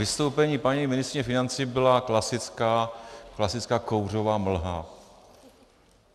Vystoupení paní ministryně financí byla klasická kouřová mlha.